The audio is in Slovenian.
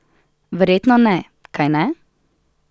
Verjetno ne, kajne?